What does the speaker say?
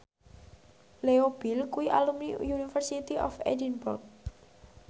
Leo Bill kuwi alumni University of Edinburgh